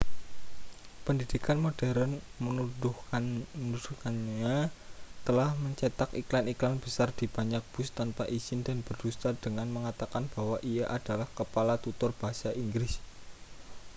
pendidikan modern menuduhnya telah mencetak iklan-iklan besar di banyak bus tanpa izin dan berdusta dengan mengatakan bahwa ia adalah kepala tutor bahasa inggris